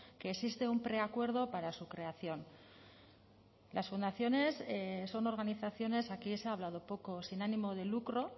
que existe un preacuerdo para su creación las fundaciones son organizaciones aquí se ha hablado poco sin ánimo de lucro